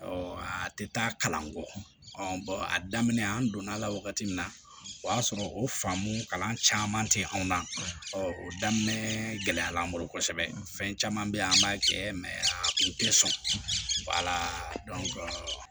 a tɛ taa kalan kɔ a daminɛ an donna a la wagati min na o y'a sɔrɔ o faamu caman tɛ anw na ɔ o daminɛ gɛlɛyara an bolo kosɛbɛ fɛn caman bɛ yen an b'a kɛ a tun tɛ sɔn